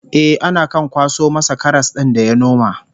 Eh, ana kan kwaso masa karas din da ya noma